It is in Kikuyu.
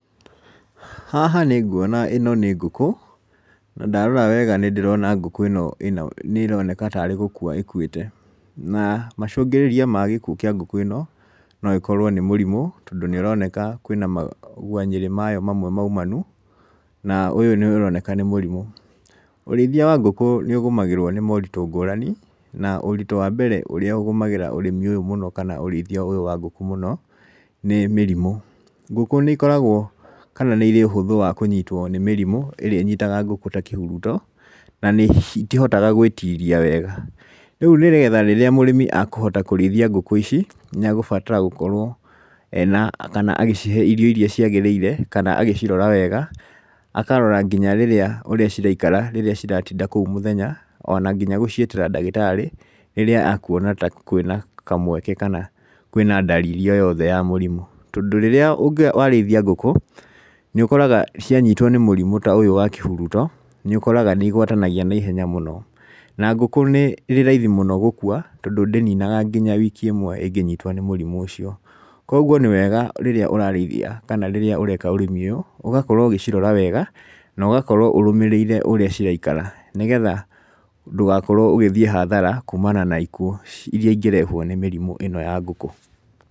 Haha nĩ nguona ĩno nĩ ngũkũ, na ndarora wega nĩ ndĩrona ngũkũ ĩno nĩ ĩroneka tarĩ gũkua ĩkuĩte. Na macũngĩrĩria ma gĩkuo kĩa ngũkũ ĩno, no ĩkorwo nĩ mũrimũ, tondũ nĩ ũroneka kwĩna maguanyĩrĩ mayo mamwe maumanu, na ũyũ nĩ ũroneka nĩ mũrimũ. Ũrĩithia wa ngũkũ nĩ ũgũmagirwo nĩ moritũ ngũrani, na ũritũ wa mbere ũrĩa ũgũmagĩra ũrĩmi ũyũ mũno kana ũrĩithia ũyũ wa ngũkũ mũno nĩ mĩrimũ. Ngũkũ nĩ ikoragwo kana nĩ irĩ ũhũthũ wa kũnyitwo nĩ mĩrimũ ĩrĩa ĩnyitaga ngũkũ ta kĩhuruto na nĩ citihotaga gwĩtiria wega. Rĩu nĩgetha rĩrĩa mũrĩmi akũhota kũrĩithia ngũkũ ici, nĩ egũbatara gũkorwo ena irio irĩa ciagĩrĩire kana agĩcirora wega. Akarora nginya rĩrĩa ũrĩa ciraikara rĩrĩa ciratinda kũu mũthenya, ona gũciĩtĩra ndagĩtarĩ, rĩrĩa akuona ta kwĩna kamweke kana kwĩna dalili o yothe ya mũrimũ. Tondũ rĩrĩa warĩithia ngũkũ nĩ ũkoraga cianyitwo nĩ mũrimũ ta ũyũ wa kĩhuruto, nĩ ũkoraga nĩ igwatanagia naihenya mũno. Na ngũkũ nĩ raithi mũno gũkua tondũ ndĩninaga ona wiki ĩmwe ĩngĩnyitwo nĩ mũrimũ ũcio. Koguo nĩ wega rĩrĩa ũrarĩithia kana rĩrĩa ũreka ũrĩmi ũyũ ũgakorwo ũgĩcirora wega na ũgakorwo ũrũmĩrĩire ũrĩa ciraikaga nĩgetha ndũgakorwo ũgĩthiĩ hathara kuumana na ikuo, irĩa ingĩrehwo nĩ mĩrimũ ĩno ya ngũku.